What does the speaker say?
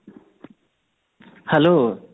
hello